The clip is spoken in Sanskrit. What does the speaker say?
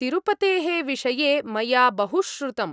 तिरुपतेः विषये मया बहुश्रुतम्।